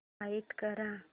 find कर